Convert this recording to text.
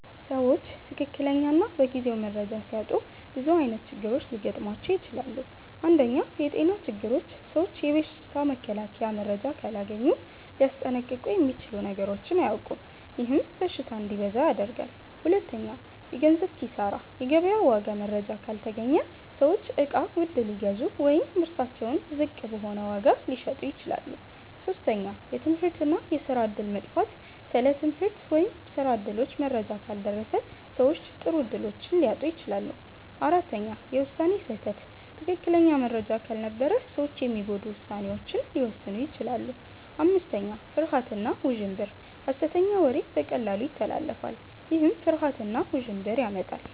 ሰዎች ትክክለኛ እና በጊዜው መረጃ ሲያጡ ብዙ ዓይነት ችግሮች ሊገጥሟቸው ይችላሉ። 1. የጤና ችግሮች ሰዎች የበሽታ መከላከያ መረጃ ካላገኙ ሊያስጠንቀቁ የሚችሉ ነገሮችን አያውቁም፤ ይህም በሽታ እንዲበዛ ያደርጋል። 2. የገንዘብ ኪሳራ የገበያ ዋጋ መረጃ ካልተገኘ ሰዎች እቃ ውድ ሊገዙ ወይም ምርታቸውን ዝቅ በሆነ ዋጋ ሊሸጡ ይችላሉ። 3. የትምህርት እና የስራ እድል መጥፋት ስለ ትምህርት ወይም ስራ እድሎች መረጃ ካልደረሰ ሰዎች ጥሩ እድሎችን ሊያጡ ይችላሉ። 4. የውሳኔ ስህተት ትክክለኛ መረጃ ካልነበረ ሰዎች የሚጎዱ ውሳኔዎችን ሊወስኑ ይችላሉ። 5. ፍርሃት እና ውዥንብር ሐሰተኛ ወሬ በቀላሉ ይተላለፋል፤ ይህም ፍርሃት እና ውዥንብር ያመጣል።